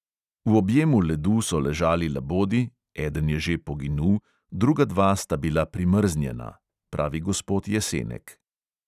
"V objemu ledu so ležali labodi, eden je že poginul, druga dva sta bila primrznjena," pravi gospod jesenek.